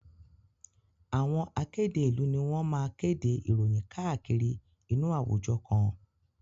Àwọn akéde ìlú ni wọ́n máa kéde ìròyìn káàkiri inú àwùjọ kan.